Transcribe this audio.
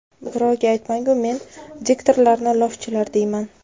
Birovga aytmang-u, men diktorlarni lofchilar deyman.